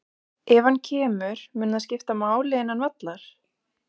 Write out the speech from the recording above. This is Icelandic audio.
Ef hann kemur, mun það skipta máli innan vallar?